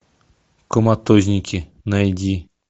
коматозники найди